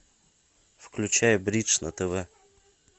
включай бридж на тв